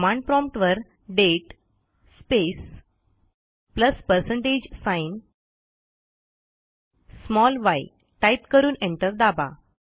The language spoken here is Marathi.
कमांड promptवर दाते स्पेस प्लस पर्सेंटेज साइन yटाईप करून एंटर दाबा